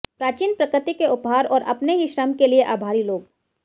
प्राचीन प्रकृति के उपहार और अपने ही श्रम के लिए आभारी लोग